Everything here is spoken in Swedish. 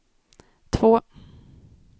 två